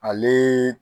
Ale